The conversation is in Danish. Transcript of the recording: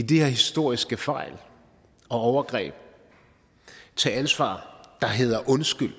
de her historiske fejl og overgreb nemlig at tage det ansvar der hedder undskyld